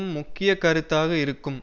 முக்கிய கருத்தாக இருக்கும்